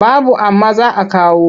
Babu amma za a kawo.